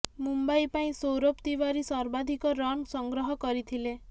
ମୁମ୍ବାଇ ପାଇଁ ସୌରଭ ତିୱାରୀ ସର୍ବାଧିକ ରନ୍ ସଂଗ୍ରହ କରିଥିଲେ